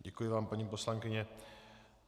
Děkuji vám, paní poslankyně.